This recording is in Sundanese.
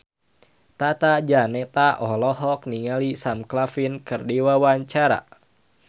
Tata Janeta olohok ningali Sam Claflin keur diwawancara